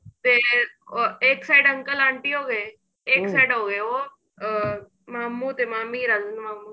ਤੇ ਇੱਕ side uncle aunty ਹੋ ਗਏ side ਹੋ ਗਏ ਉਹ ਅਹ ਮਾਮੂ ਤੇ ਮਾਮੀ ਰਾਜਨ ਮਾਮੂ